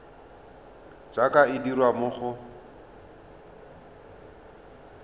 jaaka e dirwa mo go